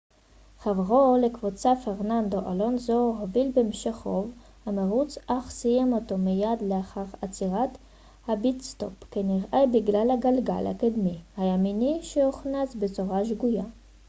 חברו לקבוצה פרננדו אלונסו הוביל במשך רוב המרוץ אך סיים אותו מיד לאחר עצירת הפיט-סטופ כנראה בגלל הגלגל הקדמי הימני שהוכנס בצורה שגויה